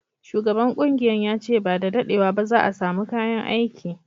Shugaban kungiyan ya ce ba da daddewa ba za'a samu kayan aiki.